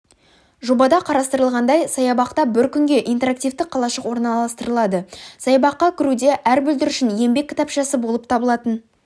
жобада қарастырылғандай саябақта бір күнге интерактивті қалашық орналастырылады саябаққа кіруде әр бүлдіршін еңбек кітапшасы болып табылатын